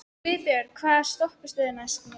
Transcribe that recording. Guðbjörg, hvaða stoppistöð er næst mér?